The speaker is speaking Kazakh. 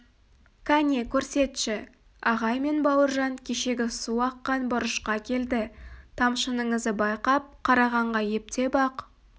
кәне көрсетші ағай мен бауыржан кешегі су аққан бұрышқа келді тамшының ізі байқап қарағанға ептеп ақ